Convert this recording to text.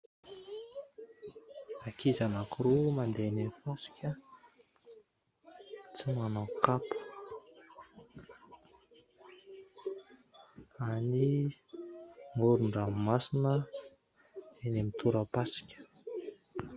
Ankizy anankiroa mandeha eny amin'ny fasika tsy manao kapa any amorondranomasina eny amin'ny torapasika.